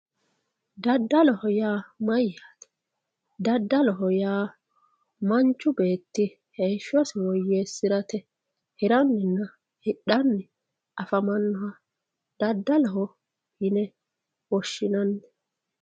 Daddaloho yaa mayyate, daddaloho yaa manchu beetti heeshshosi woyyeesirate hiraninna hidhanni afamanoha daddaloho yine woshshinanni.